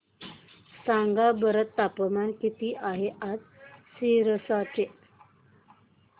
सांगा बरं तापमान किती आहे आज सिरसा चे